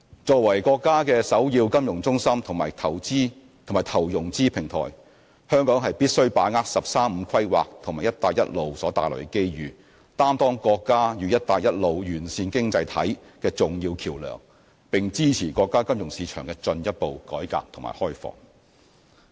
作為國家的首要金融中心及投融資平台，香港必須把握"十三五"規劃及"一帶一路"所帶來的機遇，擔當國家與"一帶一路"沿線經濟體的重要橋樑，並支持國家金融市場的進一步改革和開放。